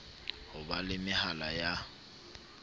ho ba le mehala ya